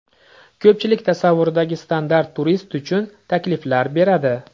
Ko‘pchilik tasavvuridagi standart turist uchun takliflar beradi.